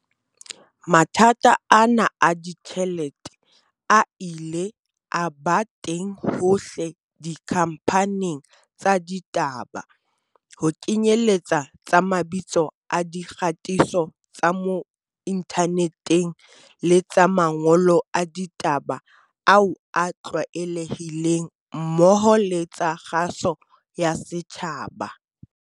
Mathata ana a ditjhelete a ile a ba teng hohle dikhamphaning tsa ditaba, ho kenyeletsa tsa mabitso a di kgatiso tsa mo inthaneteng le tsa mangolo a ditaba ao a tlwaelehileng mmoho le tsa kgaso ya setjhaba.